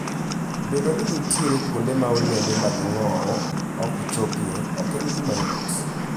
Bedo ni nitie kuonde ma olembe mag ng'owo ok chopie ok en gima yot.